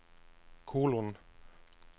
kolon